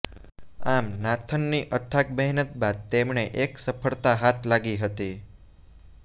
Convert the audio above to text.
આમ નાથનની અથાગ મહેનત બાદ તેમણે એક સફળતા હાથ લાગી હતી